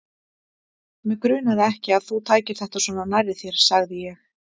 Mig grunaði ekki, að þú tækir þetta svona nærri þér sagði ég.